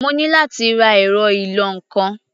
Mo ní láti ra ẹ̀rọ ìlọ-nǹkan.